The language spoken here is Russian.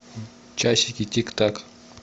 часики тик так